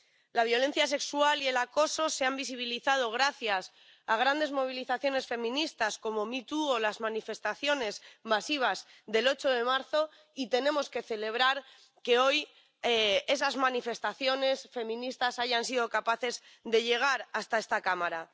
La violencia sexual y el acoso se han visibilizado gracias a grandes movilizaciones feministas como MeToo o las manifestaciones masivas del 8 de marzo, y tenemos que celebrar que hoy esas manifestaciones feministas hayan sido capaces de llegar hasta esta Cámara.